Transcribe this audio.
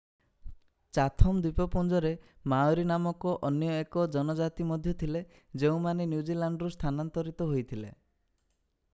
Chatham ଦ୍ୱୀପପୁଞ୍ଜରେ Maori ନାମକ ଅନ୍ୟ ଏକ ଜନଜାତି ମଧ୍ୟ ଥିଲେ ଯେଉଁମାନେ ନ୍ୟୁଜିଲ୍ୟାଣ୍ଡରୁ ସ୍ଥାନାନ୍ତରିତ ହୋଇଥିଲେ